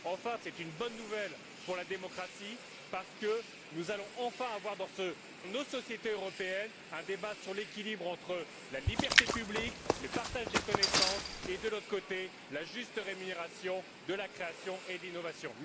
Enfin, c'est une bonne nouvelle pour la démocratie, parce que nous allons enfin avoir dans nos sociétés européennes un débat sur l'équilibre entre, d'une part, la liberté publique et le partage des connaissances et, d'autre part, la juste rémunération de la création et de l'innovation.